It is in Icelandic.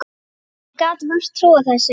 Ég gat vart trúað þessu.